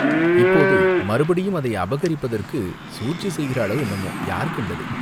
இப்போது மறுபடியும் அதை அபகரிப்பதற்குச் சூழ்ச்சி செய்கிறாளோ, என்னமோ யார் கண்டது?